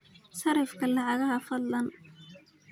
sarrifka lacagaha fadlan